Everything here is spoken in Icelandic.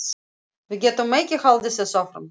Við getum ekki haldið þessu áfram.